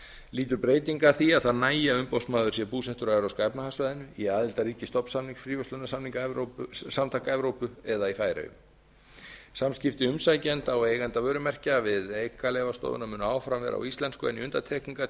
lýtur þessi breytingin að því að það nægi að umboðsmaður sé búsettur á evrópska efnahagssvæðinu í aðildarríki stofnsamnings fríverslunarsamtaka evrópu eða í færeyjum samskipti um sækjenda og eigenda vörumerkja við einkaleyfastofuna munu áfram vera á íslensku en í